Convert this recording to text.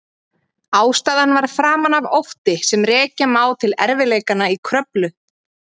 Ástæðan var framan af ótti sem rekja má til erfiðleikanna í Kröflu.